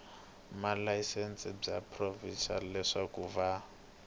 malayisense bya provhinsi leswaku va